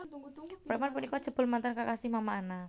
Preman punika jebul mantan kekasih Mama Ana